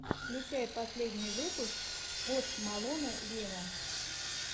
включай последний выпуск пост малона вево